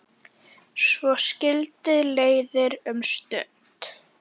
Svo skildi leiðir um stund.